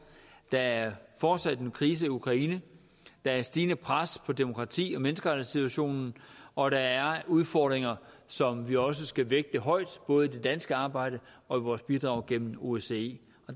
der er fortsat en krise i ukraine der er stigende pres på demokrati og menneskerettighedssituationen og der er udfordringer som vi også skal vægte højt både i det danske arbejde og i vores bidrag gennem osce